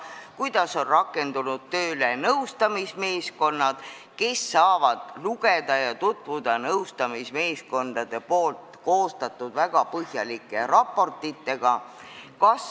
Kuidas on rakendunud tööle nõustamismeeskonnad ning kes saavad tutvuda nõustamismeeskondade koostatud väga põhjalike raportitega?